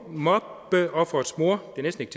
mobbeofferets mor